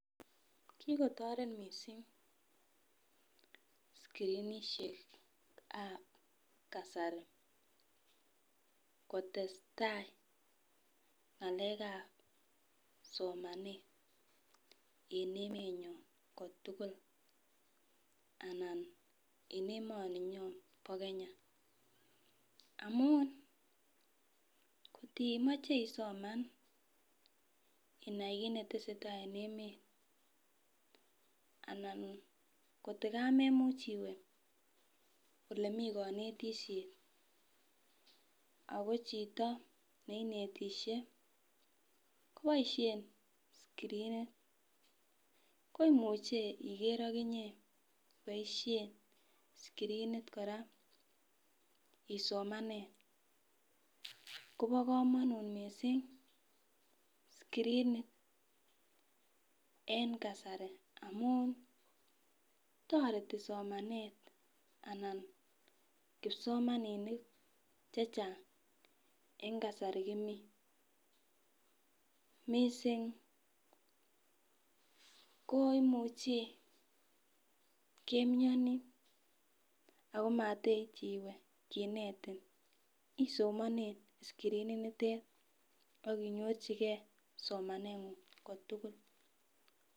Kikotoret missing skrinishekab kasari kotestai ngalekab somanet en emenyon kotulil anan en emoninyon bo Kenya amun kotimoche isomen inai kit netesetai en emet anan koto kamemuch iwee olemii konetishet ako chito neinetishe koboishen skrinit koimuche ikere okinye iboishen skrinit koraa isomene Kobo komonut missing skrinit en kasari amun toreti somanet anan kipsomaninik chechang en kasari komii, missing ko imuchi komioni Ako mateiyi iwee kinetin isomene skrinit nitet akinyorchigee somenengung kotokul.